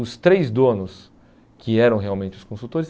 Os três donos, que eram realmente os consultores.